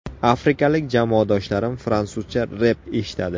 Afrikalik jamoadoshlarim fransuzcha rep eshitadi.